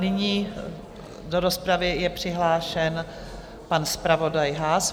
Nyní do rozpravy je přihlášen pan zpravodaj Haas.